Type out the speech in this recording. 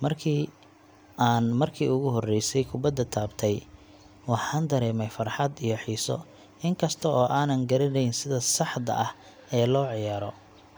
Markii aan markii ugu horreysay kubadda taabtay, waxaan dareemay farxad iyo xiiso. In kasta oo aanan garaneyn sida saxda ah ee loo ciyaaro,